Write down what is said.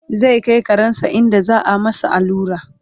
zai Kai karensa inda za'a masa allura